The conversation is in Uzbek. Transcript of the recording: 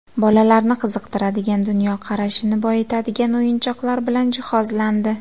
Bolalarni qiziqtiradigan, dunyoqarashini boyitadigan o‘yinchoqlar bilan jihozlandi.